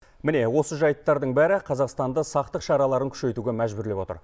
міне осы жайттардың бәрі қазақстанды сақтық шараларын күшейтуге мәжбүрлеп отыр